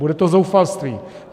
Bude to zoufalství.